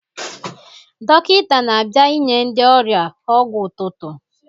Dọkịta na-abịa inye ndị ọrịa ọgwụ ụtụtụ.